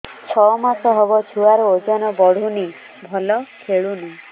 ଛଅ ମାସ ହବ ଛୁଆର ଓଜନ ବଢୁନି ଭଲ ଖେଳୁନି